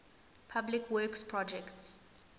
public works projects